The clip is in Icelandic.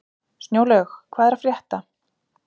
Snjólaug, hvað er að frétta?